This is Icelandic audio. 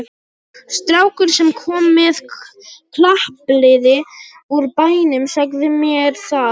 Strákur, sem kom með klappliði úr bænum, sagði mér það.